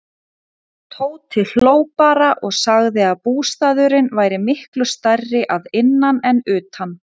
Tóti hló bara og sagði að bústaðurinn væri miklu stærri að innan en utan.